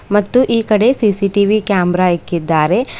ಮತ್ತು ಈ ಕಡೆ ಸಿ_ಸಿ_ಟಿ_ವಿ ಕ್ಯಾಮರಾ ಇಕ್ಕಿದ್ದಾರೆ.